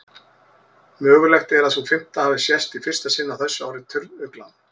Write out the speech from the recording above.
Mögulegt er að sú fimmta hafi sést í fyrsta sinn á þessu ári, turnuglan.